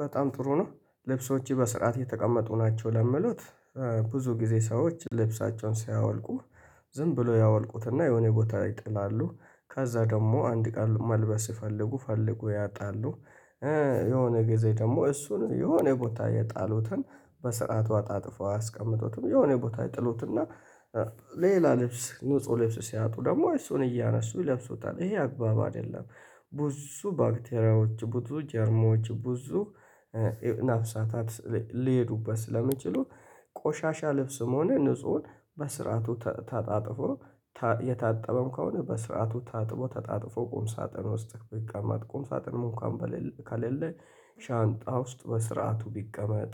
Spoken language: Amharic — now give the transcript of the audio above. በጣም ጥሩ ነው ልብሶችህ በስርዓት የተቀመጡ ናቸው ለሚሉት። ብዙ ጊዜ ሰዎች ልብሳቸውን ሳያወልቁ ዝም ብሎ ያወልቁትና የሆነ ቦታ ይጥላሉ ከዛ ደግሞ አንድ ቀን መልበስ ሲፈልጉ ፈልገው ያጣሉ። የሆነ ጊዜ ደግሞ እሱን የሆነ ቦታ የጣሉትን በስርዓቱ አጣጥፈው አይያስቀምጠውትም የሆነ ቦታ ይጥሉትና። ሌላ ልብስ ንጹህ ልብስ ሲያጡ ደግሞ እሱን እያነሱ ይለብሱታል ይሄ አግባብ አይደለም። ብዙ ባክቴሪያዎች ብዙ ጀርሞች ብዙ ነፍሳታት ሊሄዱበት ስለሚችሉ። ቆሻሻ ልብስም ሆነ ንፁህን በስርዓቱ ታጥፎ የታጠበም ከሆነ በስርዓቱ ታጥቦ ታጥፎ ቁም ሳጥን ውስጥ ቢቀመጥ ቁም ሳጥን እንክኳን ከሌለ። ሻንጣ ውስጥ በስርዓቱ ቢቀመጥ።